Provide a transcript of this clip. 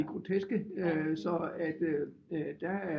I groteske så der er